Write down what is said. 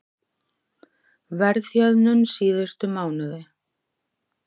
Verðhjöðnun síðustu mánuði